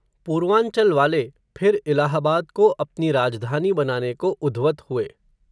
पूर्वांचल वाले, फिर इलाहाबाद को अपनी राजधानी बनाने को उध्वत हुए